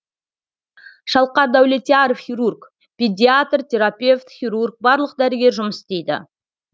шалқар дәулетияров хирург педиатр терапевт хирург барлық дәрігер жұмыс істейді